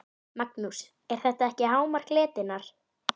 Magnús: Er þetta ekki hámark letinnar?